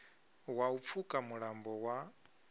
wa u pfuka mulambo wa